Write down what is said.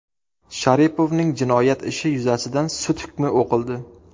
Sharipovning jinoyat ishi yuzasidan sud hukmi o‘qildi.